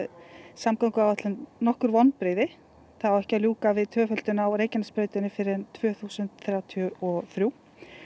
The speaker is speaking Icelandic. samgönguáætlun nokkur vonbrigði það á ekki að ljúka við tvöföldun á Reykjanesbrautinni fyrr en tvö þúsund þrjátíu og þrjú